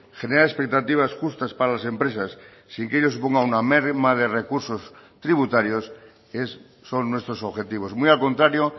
generar expectativas justas para las empresas sin que ello suponga una merma de recursos tributarios son nuestros objetivos muy al contrario